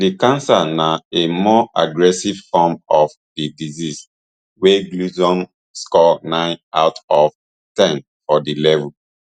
di cancer na a more aggressive form of di disease wey gleason score nine out of ten for di level